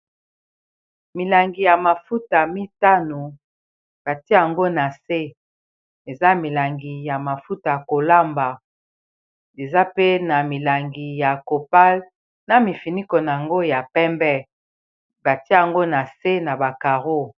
Milangi ya mafuta mitano batia yango na se eza milangi ya mafuta kolamba eza pe na milangi ya copal na mifiniko na yango ya pembe batia yango na se na ba careau.